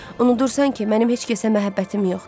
unudursan ki, mənim heç kəsə məhəbbətim yoxdur.